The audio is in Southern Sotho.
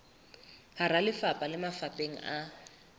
hara lefapha le mafapheng a